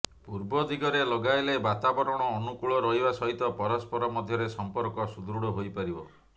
ପୂର୍ବଦିଗରେ ଲଗାଇଲେ ବାତାବରଣ ଅନୂକୂଳ ରହିବା ସହିତ ପରସ୍ପର ମଧ୍ୟରେ ସଂପର୍କ ସୁଦୃଢ଼ ହୋଇପାରିବ